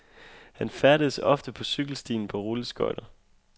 Han færdedes ofte på cykelstien på rulleskøjter.